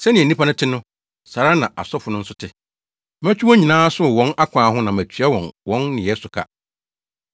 Sɛnea nnipa no te no, saa ara na asɔfo no nso te. Mɛtwe wɔn nyinaa aso wɔ wɔn akwan ho na matua wɔn wɔn nneyɛe so ka.